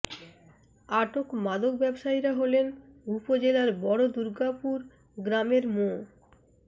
আটক মাদক ব্যবসায়ীরা হলেন উপজেলার বড় দূর্গাপুর গ্রামের মো